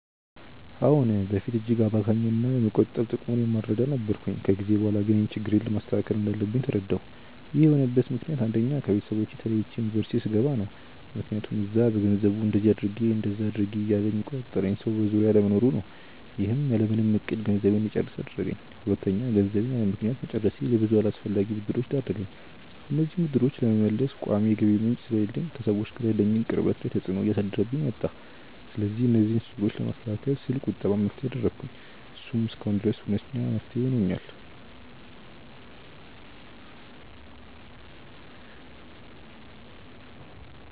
አዎ። በፊት እጅግ አባካኝ እና የመቆጠብ ጥቅሙን የማልረዳ ነበርኩ። ከጊዜ በኋላ ግን ይህንን ችግሬን ማስተካከል እንዳለብኝ ተረዳሁ። ይህን የሆነበት ምክንያት አንደኛ: ከቤተሰቦቼ ተለይቼ ዩኒቨርስቲ ስገባ ነው። ምክያቱም እዛ በገንዘቡ እንደዚ አድርጊ እንደዛ አድርጊ እያለ የሚቆጣጠረኝ ሰው በዙሪያዬ አለመኖሩ ነው። ይህም ያለምንም እቅድ ገንዘቤን እንድጨርስ አደረገኝ። ሁለተኛ: ገንዘቤን ያለምክንያት መጨረሴ ለብዙ አላስፈላጊ ብድሮች ዳረገኝ። እነዚህንም ብድሮች ለመመለስ ቋሚ የገቢ ምንጭ ስለሌለኝ ከሰዎች ጋር ያለኝን ቅርበት ላይ ተፅዕኖ እያሳደረብኝ መጣ። ስለዚህ እነዚህን ችግሮች ለማስተካከል ስል ቁጠባን መፍትሄ አደረኩ። እሱም እስካሁን ድረስ ሁነኛ መፍትሄ ሆኖኛል።